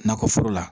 Nakɔ foro la